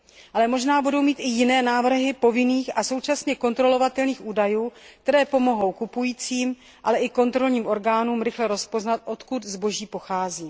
Ale možná budou mít i jiné návrhy povinných a současně kontrolovatelných údajů, které pomohou kupujícím, ale i kontrolním orgánům rychle rozpoznat, odkud zboží pochází.